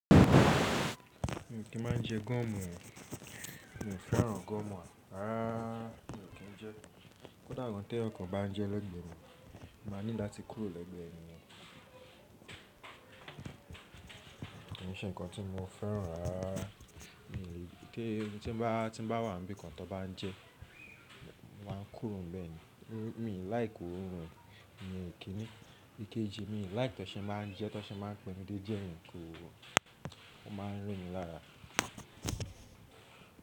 Mi ò kí ń má jẹ gọ́mù, mi ò fẹ́ràn gọ́mù rárá. Mi ò kí ń jẹ. Kódà tó èèyàn kàn bá ń jẹ lẹ́gbẹ̀ẹ́ mi, màá nídìí láti kúrò lẹ́gbẹ̀ẹ́ ènìyàn. Kànṣé nǹkan tí mo fẹ́ràn rárá. Mi ò lè kí ń tẹ́ ẹni tí bá wà níbí kan tó bá ń jẹ, mo máa ń kúrò níbẹ̀ ni. Mi ò like òórùn rẹ, mi ò kí ni. Ikeji, mi ò like tẹ́ṣẹ́ má ń jẹ tẹ́ṣẹ́ má ń pẹni dé díẹ̀ yíǹ ko o. O má ń rún mi lára.